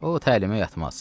O təlimə yatmaz."